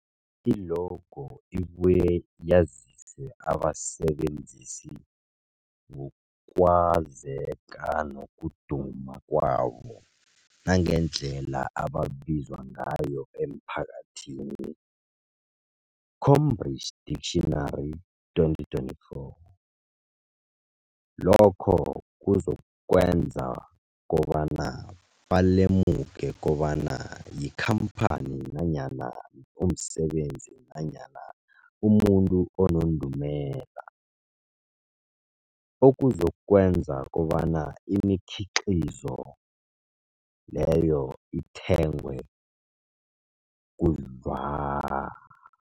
I-logo ibuye yazise abasebenzisi ngokwazeka nokuduma kwabo nangendlela abaziwa ngayo emphakathini, Cambridge Dictionary, 2024. Lokho kuzokwenza kobana balemuke kobana yikhamphani nanyana umsebenzi nanyana umuntu onendumela, okuzokwenza kobana imikhiqhizo leyo ithengwe khudlwana.